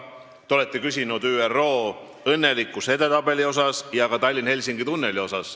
Te olete küsinud ÜRO õnnelikkuse edetabeli ja ka Tallinna-Helsingi tunneli kohta.